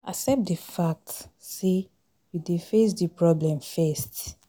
Accept di fact sey you dey face di problem first